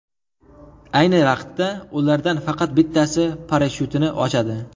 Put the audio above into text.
Ayni vaqtda, ulardan faqat bittasi parashyutini ochadi.